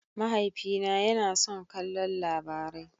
Mahaifina yana son kallon Labarai.